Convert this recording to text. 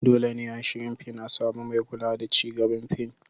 Dole ne a shirin fin a samu mai kula da ci gaban fin.